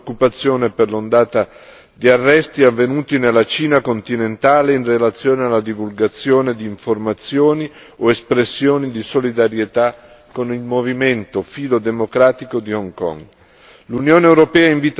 Esprimiamo la nostra preoccupazione per l'ondata di arresti avvenuti nella Cina continentale in relazione alla divulgazione di informazioni o espressioni di solidarietà con il movimento filodemocratico di Hong Kong.